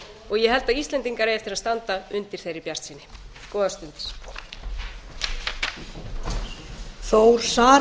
og ég held að íslendingar eigi eftir að standa undir þeirri bjartsýni góðar stundir